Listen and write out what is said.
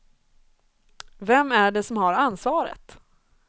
Vem är det som har ansvaret?